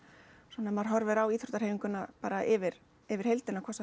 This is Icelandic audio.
svona ef maður horfir á íþróttahreyfinguna bara yfir yfir heildina hvort